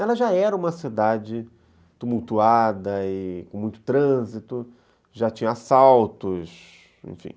Ela já era uma cidade tumultuada e com muito trânsito, já tinha assaltos, enfim.